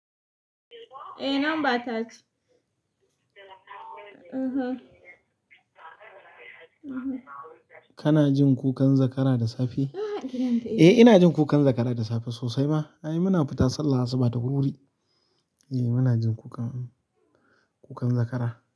Eh number ta ce kana jin kukan zakara da safe eh ina jin kukan zakara da safe sosai ma ai muna fita sallah asuba da wurwuri. Eh muna jin kukan, kukan zakara.